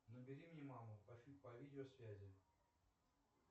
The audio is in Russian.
набери мне маму по видео связи